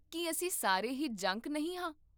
ਕੀ ਅਸੀਂ ਸਾਰੇ ਹੀ ਜੰਕ ਨਹੀਂ ਹਾਂ?